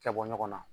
Kɛ bɔ ɲɔgɔn na